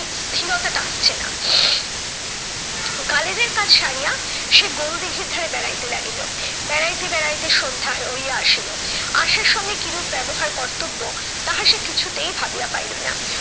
স্থিরতাটা আসছে না। কালেজের কাজ সারিয়া সে গোলদীঘির ধারে বেড়াইতে লাগিল। বেড়াইতে বেড়াইতে সন্ধ্যা হইয়া আসিল। আশার সঙ্গে কিরূপ ব্যবহার কর্তব্য তাহা সে কিছুতেই ভাবিয়া পাইলো না।